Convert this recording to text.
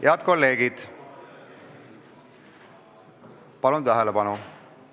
Head kolleegid, palun tähelepanu!